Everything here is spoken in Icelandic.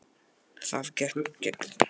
Það gekk mjög vel hjá mér.